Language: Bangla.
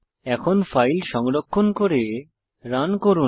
এখন ফাইল সংরক্ষণ করে রান করুন